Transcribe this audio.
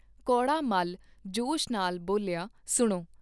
ਕੌੜਾ ਮੱਲ ਜੋਸ਼ ਨਾਲ ਬੋਲਿਆ ਸੁਣੋ!